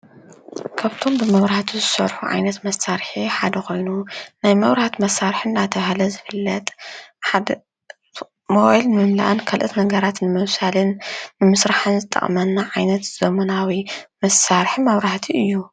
ካብቶም ብመብራህቲ ዝሰርሑ ዓይነት መሳርሒ ሓደ ኮይኑ ናይ መብራህቲ መሳርሒ እናተብሃለ ዝፍለጥ ንሞባይል ምምላእ ካልኦት ነገራት ንምብሳልን ንምስራሕን ዝጠቅመና ዓይነት ዘመናዊ መሳርሒ መብራህቲ እዩ።